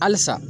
Halisa